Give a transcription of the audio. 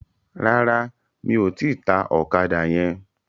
Rárá, mi ò tíì ta ọ̀kadà yẹn.